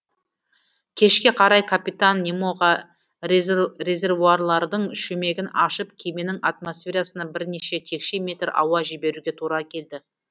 кешке қарай капитан немоға резервуарлардың шүмегін ашып кеменің атмосферасына бірнеше текше метр ауа жіберуге тура келді